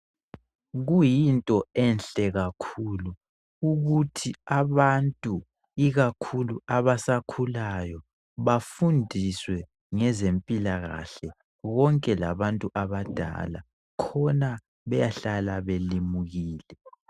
Kuyinto enhle kakhulu ukuthi abantu ikakhulu abasakhulayo bafundiswe ngezempilakahle konke labantu abadala khona beyahlala belimukile.